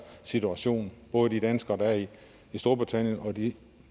situation både de danskere der er i storbritannien og de